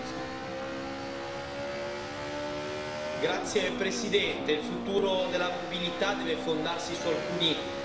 met slimme vormen van mobiliteit. De ontwikkeling bijvoorbeeld van zelfrijdende voertuigen.